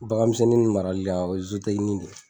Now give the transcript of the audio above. Bagan misɛnnin marali la , o ye de ye.